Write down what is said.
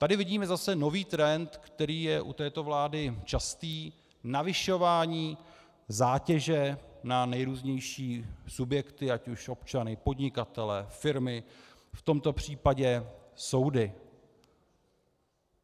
Tady vidíme zase nový trend, který je u této vlády častý, zvyšování zátěže na nejrůznější subjekty, ať už občany, podnikatele, firmy, v tomto případě soudy.